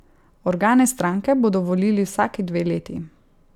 Organe stranke bodo volili vsaki dve leti.